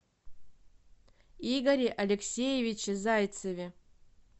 игоре алексеевиче зайцеве